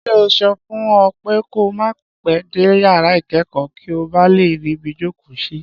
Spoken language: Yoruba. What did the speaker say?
Ṣé n ò sọ fún ọ pé ko má pẹ́ dé yàrá ìkẹ́kọ̀ọ́ kí o ba lè ríbi jókòó sí?